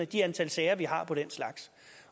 det antal sager vi har om den slags